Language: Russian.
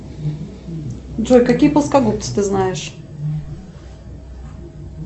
джой какие плоскогубцы ты знаешь